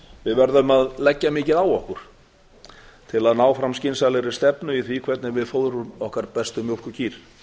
við verðum að leggja mikið á okkur til að ná fram skynsamlegri stefnu í því hvernig við fóðrum okkar bestu mjólkurkýr